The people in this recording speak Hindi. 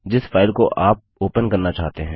जिस फाइल को आप ओपन करना चाहते हैं